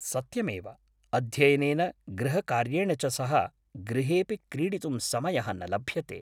सत्यमेव, अध्ययनेन गृहकार्येण च सह, गृहेऽपि क्रीडितुं समयः न लभ्यते।